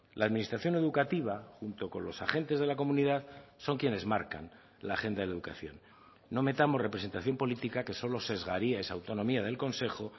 la administración educativa junto con los agentes de la comunidad son quienes marcan la agenda de educación no metamos representación política que solo sesgaría esa autonomía del consejo